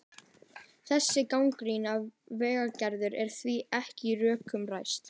Þessi gagnrýni Valgerðar er því ekki á rökum reist.